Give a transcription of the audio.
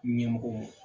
Ɲɛmɔgɔ